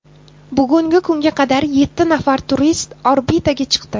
Bugungi kunga qadar yetti nafar turist orbitaga chiqdi.